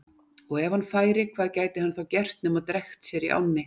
Og ef hann færi, hvað gæti hann þá gert nema drekkt sér í ánni?